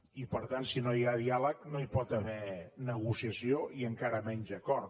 i per tant si no hi ha diàleg no hi pot haver negociació i encara menys acord